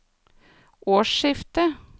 årsskiftet